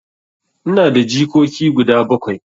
Ina da jikoki guda bakwai.